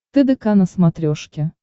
тдк на смотрешке